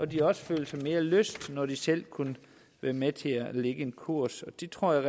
de også følte mere lyst når de selv kunne være med til at lægge en kurs det tror jeg